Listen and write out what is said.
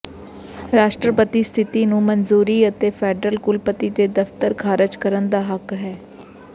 ਰਾਸ਼ਟਰਪਤੀ ਸਥਿਤੀ ਨੂੰ ਮਨਜ਼ੂਰੀ ਅਤੇ ਫੈਡਰਲ ਕੁਲਪਤੀ ਦੇ ਦਫਤਰ ਖਾਰਜ ਕਰਨ ਦਾ ਹੱਕ ਹੈ